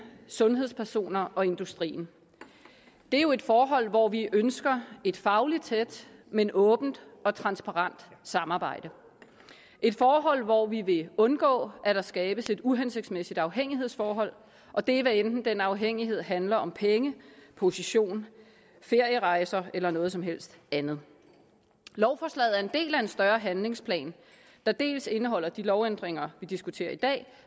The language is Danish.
sundhedspersoner og industrien det er jo et forhold hvor vi ønsker et fagligt tæt men åbent og transparent samarbejde et forhold hvor vi vil undgå at der skabes et uhensigtsmæssigt afhængighedsforhold og det er hvad enten den afhængighed handler om penge position ferierejser eller noget som helst andet lovforslaget er en del af en større handlingsplan der dels indeholder de lovændringer vi diskuterer i dag